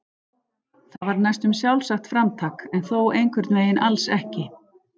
Það var næstum sjálfsagt framtak en þó einhvern veginn alls ekki.